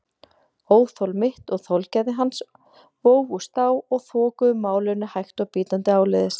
Óþol mitt og þolgæði hans vógust á og þokuðu málinu hægt og bítandi áleiðis.